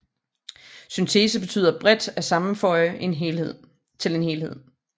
Syntese betyder bredt at sammenføje til en helhed